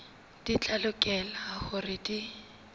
di tla lokela hore di